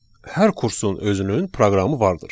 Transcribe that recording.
Hər kursun özünün proqramı vardır.